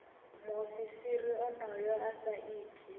muofisiri onoyo a sa iti